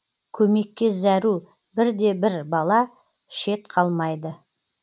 көмекке зәру бір де бір бала шет қалмайды